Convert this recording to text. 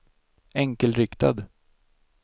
enkelriktad